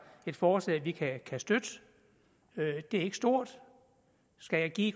et forslag vi kan støtte det er ikke stort skal jeg give